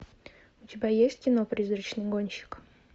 у тебя есть кино призрачный гонщик